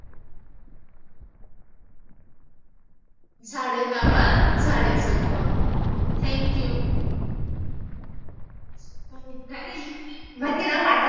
झाडे लावा, झाडें जगवा. thankyou